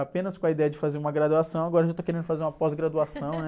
Apenas com a ideia de fazer uma graduação, agora eu já estou querendo fazer uma pós-graduação, né?